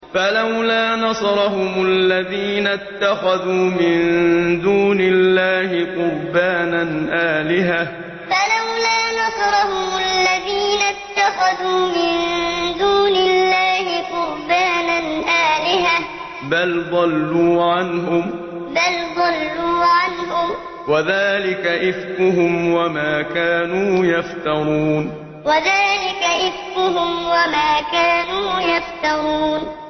فَلَوْلَا نَصَرَهُمُ الَّذِينَ اتَّخَذُوا مِن دُونِ اللَّهِ قُرْبَانًا آلِهَةً ۖ بَلْ ضَلُّوا عَنْهُمْ ۚ وَذَٰلِكَ إِفْكُهُمْ وَمَا كَانُوا يَفْتَرُونَ فَلَوْلَا نَصَرَهُمُ الَّذِينَ اتَّخَذُوا مِن دُونِ اللَّهِ قُرْبَانًا آلِهَةً ۖ بَلْ ضَلُّوا عَنْهُمْ ۚ وَذَٰلِكَ إِفْكُهُمْ وَمَا كَانُوا يَفْتَرُونَ